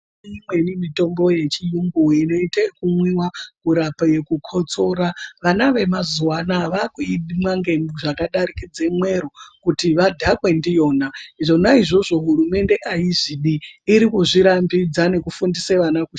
Imweni mitombo yechiyungu inoite yekumwiwa kurape kukotsora. Vana vemazuva anaa vaakuimwa zvakadarikidze mwero kuti vakudhakwe ndiyona. Zvona izvozvo hurumende aizvidi irikuzvirambidza nekufundise vana ....